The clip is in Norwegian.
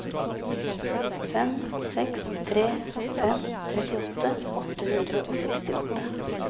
fem seks tre fem trettiåtte åtte hundre og sekstiåtte